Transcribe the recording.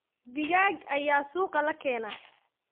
Digaag ayaa suuqa la keenaa.